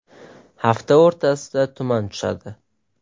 Hafta o‘rtasida tuman tushadi.